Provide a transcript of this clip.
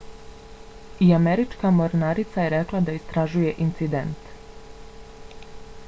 i američka mornarica je rekla da istražuje incident